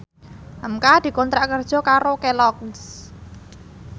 hamka dikontrak kerja karo Kelloggs